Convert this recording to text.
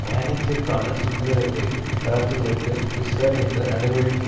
பயணத்திற்கான சுதந்திரத்தை தளர்த்துவதற்கு பிஷ்ஷர் எந்த நடவடிக்கை